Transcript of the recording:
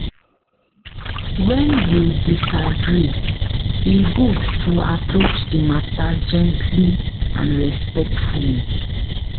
When you disagree, e good to approach the matter gently and respectfully.